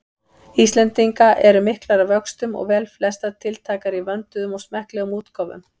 Íslendinga eru miklar að vöxtum og velflestar tiltækar í vönduðum og smekklegum útgáfum.